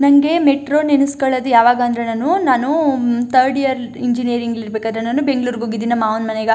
ನಂಗೆ ಮೆಟ್ರೋ ನೆನಸಿಕೊಳೋದು ಯಾವಾಗ ಅಂದ್ರೆ ನಾನು ನಾನು ಥರ್ಡ್ ಇಯರ್ ಇಂಜಿನಿಯರಿಂಗ್ ಅಲ್ಲಿ ಇರಬೇಕಾದ್ರೆ ನಾನು ಬೆಂಗಳೂರುಗೆ ಹೋಗಿದ್ದಿ ಮಾವೂನ್ ಮನೆಗ.